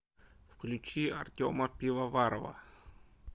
включи артема пивоварова